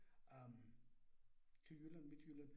Øh til Jylland, Midtjylland